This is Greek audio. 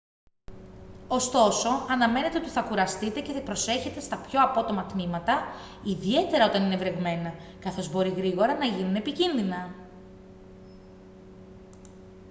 ωστόσο αναμένετε ότι θα κουραστείτε και προσέχετε στα πιο απότομα τμήματα ιδιαίτερα όταν είναι βρεγμένα καθώς μπορεί γρήγορα να γίνουν επικίνδυνα